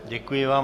Děkuji vám.